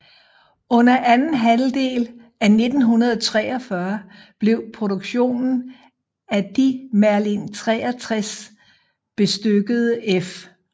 Under anden halvdel af 1943 blev produktionen af de Merlin 63 bestykkede F